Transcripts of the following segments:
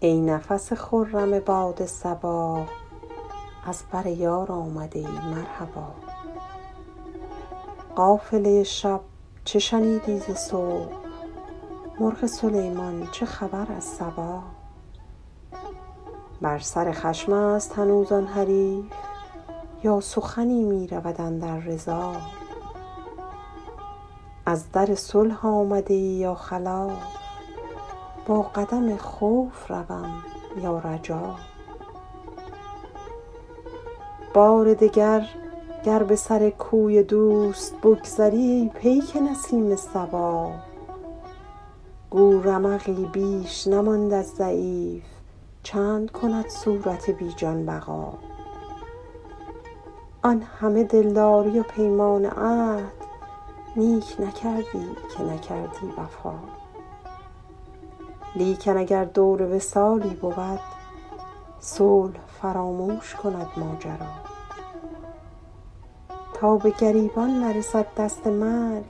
ای نفس خرم باد صبا از بر یار آمده ای مرحبا قافله شب چه شنیدی ز صبح مرغ سلیمان چه خبر از سبا بر سر خشم است هنوز آن حریف یا سخنی می رود اندر رضا از در صلح آمده ای یا خلاف با قدم خوف روم یا رجا بار دگر گر به سر کوی دوست بگذری ای پیک نسیم صبا گو رمقی بیش نماند از ضعیف چند کند صورت بی جان بقا آن همه دلداری و پیمان و عهد نیک نکردی که نکردی وفا لیکن اگر دور وصالی بود صلح فراموش کند ماجرا تا به گریبان نرسد دست مرگ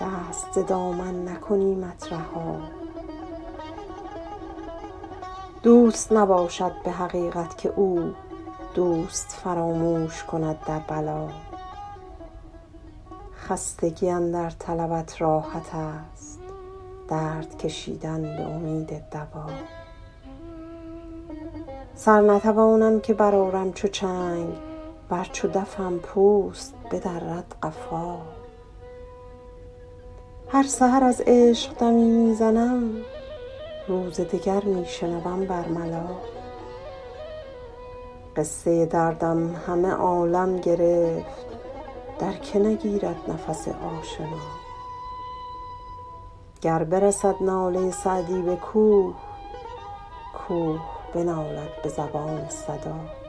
دست ز دامن نکنیمت رها دوست نباشد به حقیقت که او دوست فراموش کند در بلا خستگی اندر طلبت راحت است درد کشیدن به امید دوا سر نتوانم که برآرم چو چنگ ور چو دفم پوست بدرد قفا هر سحر از عشق دمی می زنم روز دگر می شنوم بر ملا قصه دردم همه عالم گرفت در که نگیرد نفس آشنا گر برسد ناله سعدی به کوه کوه بنالد به زبان صدا